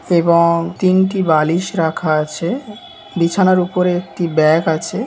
এবং তিনটি বালিশ রাখা আছে বিছানার উপরে একটি ব্যাগ আছে।